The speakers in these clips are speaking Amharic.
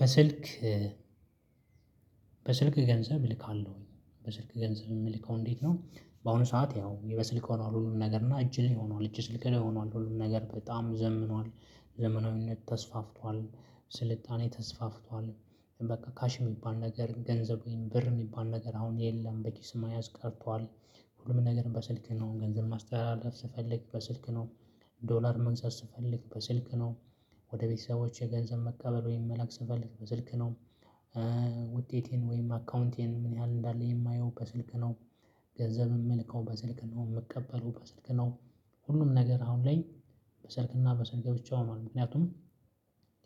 በስልክ በስልክ ገንዘብ እልካለሁኝ በስልክ ገንዘብ የምልከው እንዴት ነው በአሁኑ ሰዓት ያው በስልክ ሆኗል ሁሉም ነገር እና እጅ ላይ ሆኗል እጅ ስልክ ላይ ሆኗል ሁሉም ነገር በጣም ዘምኗል ዘመናዊነት ተስፋፍቷል ስልጣኔ ተስፋፍቷል በቃ ካሽ የሚባል ነገር ገንዘብ ወይም ብር የሚባል ነገር አሁን የለም በኪስ መያዝ ቀርቷል ሁሉም ነገር በስልክ ነው ገንዘብ ማስተላለፍ ስፈልግ በስልክ ነው ዶላር መግዛት ስፈልግ በስልክ ነው ወደ ቤተሰቦቼ ገንዘብ መቀበል ወይም መላክ ስንፈልግ በስልክ ነው ውጤቴን ወይም አካውንቴን ምን ያህል እንዳለ የማየው በስልክ ነው ገንዘብ የምልከው በስልክ ነው የምቀበለው በስልክ ነው ሁሉም ነገር አሁን ላይ በሰልክና በስልክ ብቻ ሆኖአል ምክንያቱም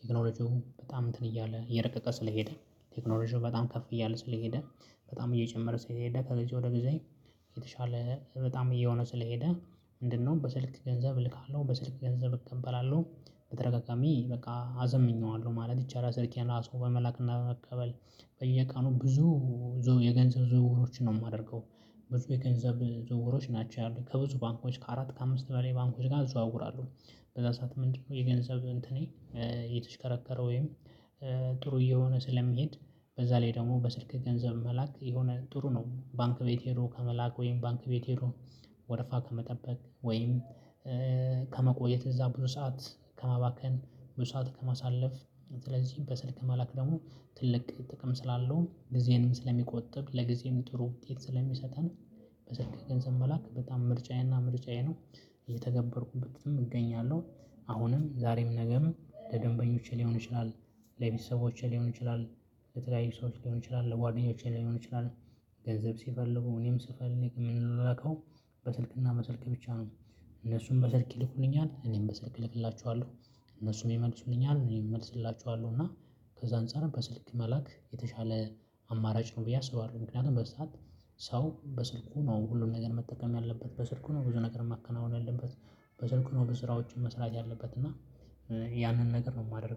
ቴክኖሎጂው በጣም እንትን እያለ እየረቀቀ ስለሄደ ቴክኖሎጂው በጣም ከፍ እያለ ስለሄደ በጣም እየጨመረ ስለሄደ ከዚህ ወደ ጊዜ የተሻለ በጣም እየሆነ ስለሄደ- ምንድነው በስልክ ገንዘብ እልካለሁ። በስልክ ገንዘብ እቀበላለሁ። በተደጋጋሚ በቃ አዘምኜዋለሁ ማለት ይቻላል። ስልኬን ራሱ በመላክና በመቀበል በየቀኑ ብዙ- የገንዘብ ዝውውሮችን ነው የማደርገው። ብዙ የገንዘብ ዝውውሮች ናቸው ያሉት። ከብዙ ባንኮች ከአራት ከአምስት በላይ ባንኮች ጋር አዘዋውራለሁ። በዛ ሰዓት ምንድነው የገንዘብ እንትኔ እየተሽከረከረ ወይም ጥሩ እየሆነ ስለሚሄድ በዛ ላይ ደግሞ በስልክ ገንዘብ መላክ የሆነ ጥሩ ነው። ባንክ ቤት ሄዶ ከመላክ ወይም ባንክ ቤት ሄዶ ወረፋ ከመጠበቅ ወይም- ከመቆየት እዛ ብዙ ሰዓት ከማባከን ብዙ ሰዓት ከማሳለፍ። ስለዚህ በስልክ መላክ ደግሞ ትልቅ ጥቅም ስላለው ጊዜንም ስለሚቆጥብ ለጊዜም ጥሩ ውጤት ስለሚሰጠን- በስልክ ገንዘብ መላክ በጣም ምርጫዬና ምርጫዬ ነው። እየተገበርኩበትም እገኛለሁ። አሁንም ዛሬም ነገም ለደንበኞቼ ሊሆን ይችላል። ለቤተሰቦቼ ሊሆን ይችላል። ለተለያዩ ሰዎች ሊሆን ይችላል። ለጓደኞቼ ሊሆን ይችላል። ገንዘብ ሲፈልጉ እኔም ስፈልግ የምንላላከው በስልክና በስልክ ብቻ ነው። እነሱም በስልክ ይልኩልኛል። እኔም በስልክ እልክላቸዋለሁ። እነሱም ይመልሱልኛል እኔም እመልስላቸዋለሁ። እና ከዛ አንፃርም በስልክ መላክ የተሻለ- አማራጭ ነው ብዬ አስባለሁ። ምክንያቱም በዚህ ሰዓት ሰው በስልኩ ነው ሁሉም ነገር መጠቀም ያለበት። በስልኩ ነው ብዙ ነገር ማከናወን ያለበት። በስልኩ ነው ብዙ ስራዎችን ያለበት ውጪ እና ያንን ነገር ነው የማደርገው።